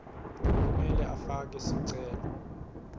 kumele afake sicelo